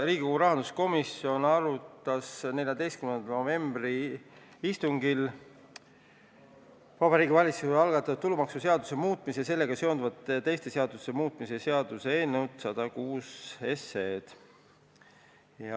Riigikogu rahanduskomisjon arutas 14. novembri istungil Vabariigi Valitsuse algatatud tulumaksuseaduse muutmise ja sellega seonduvalt teiste seaduste muutmise seaduse eelnõu 106.